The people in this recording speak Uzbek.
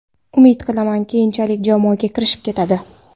Umid qilaman, keyinchalik jamoaga kirishib ketadi.